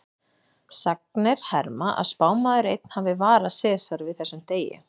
Sagnir herma að spámaður einn hafi varað Sesar við þessum degi.